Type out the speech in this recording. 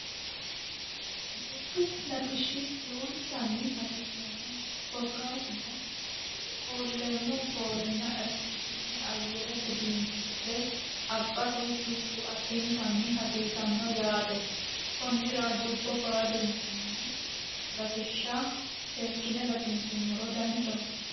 Dubbu latishi lowontani hsiisanno korkatuno foolemo foolena oxijiine ayerete biinifile abate dubbu adintani hasiisano yaate konira dubbobaalunkuni latisha sekine latinsumoro danchaho